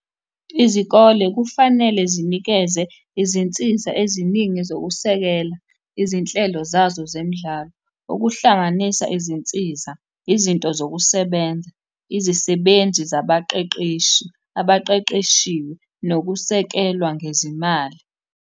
Izikole kufanele zinikeze izinsiza eziningi zokusekela izinhlelo zazo zemidlalo, okuhlanganisa izinsiza, izinto zokusebenza, izisebenzi zabaqeqeshi abaqeqeshiwe, nokusekelwa ngezimali.